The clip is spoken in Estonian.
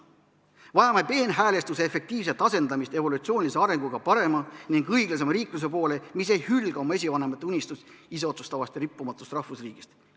Vajame peenhäälestuse efektiivset asendamist evolutsioonilise arenguga parema ning õiglasema riikluse poole, mis ei hülga oma esivanemate unistust iseotsustavast ja rikkumatust rahvusriigist.